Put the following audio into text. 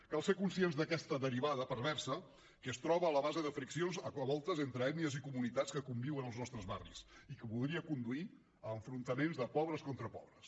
cal ser conscients d’aquesta derivada perversa que es troba a la base de friccions a voltes entre ètnies i comunitats que conviuen als nostres barris i que podria conduir a enfrontaments de pobres contra pobres